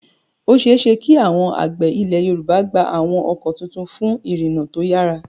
Ó ṣeé ṣe kí àwọn àgbẹ̀ Ilẹ̀ Yorùbá gba àwọn ọkọ̀ tuntun fún ìrìnnà tó yára.